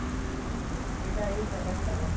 ਇਹਦਾ ਇਹ ਫਾਇਦਾ ਹੈਗਾ